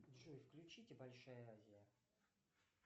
джой включите большая азия